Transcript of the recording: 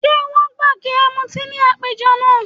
Ṣé wọ́n gbà kí ẹ mu ọtí ní àpéjọ náà?